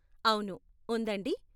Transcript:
అవును, ఉందండి.